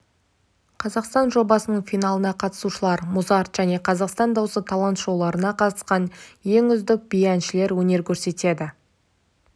қазақстан жобасының финалына қатысушылар музарт және қазақстан дауысы талант-шоуларына қатысқан ең үздік биші-әншілер өнер көрсетеді